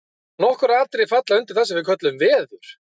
nokkur atriði falla undir það sem við köllum „veður“